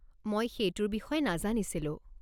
মই সেইটোৰ বিষয়ে নাজানিছিলোঁ।